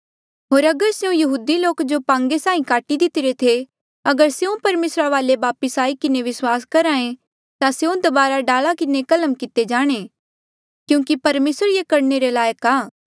होर अगर स्यों यहूदी लोक जो पांगे साहीं काटी दितिरे थे अगर स्यों परमेसरा वाले वापस आई किन्हें विस्वास करहे ता स्यों दबारा डाला किन्हें कलम किते जाणे क्यूंकि परमेसर ये करणे रे लायक आ